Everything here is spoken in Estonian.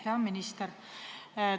Hea minister!